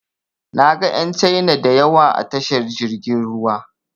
Na ga ƴan Caina da yawa a tashar jirgin ruwa.